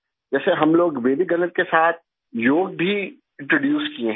जैसे हम लोग वैदिक गणित के साथ योग भी इंट्रोड्यूस किये हैं